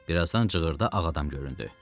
Bir azdan cığırda ağ adam göründü.